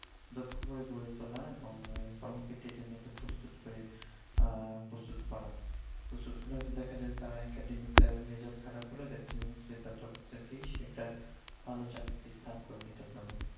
দক্ষ করে গড়ে তোলা, এবং কর্মক্ষেত্রের জন্য একদম প্রস্তুত করে প্রস্তুত করা, প্রস্তুত করলে হইত দ্যাখা যাবে তার academic টা result খারাপ হলে দ্যাখা যাবে তার দক্ষতা দিয়ে সেই একটা ভাল চাকরিতে তে স্থান করে নিতে পারবে